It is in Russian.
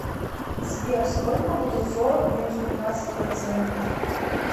сбер сколько будет сорок минус пятьнадцать процентов